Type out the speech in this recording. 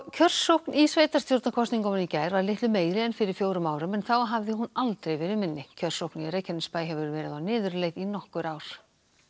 kjörsókn í sveitarstjórnarkosningunum í gær var litlu meiri en fyrir fjórum árum en þá hafði hún aldrei verið minni kjörsókn í Reykjanesbæ hefur verið á niðurleið í nokkur ár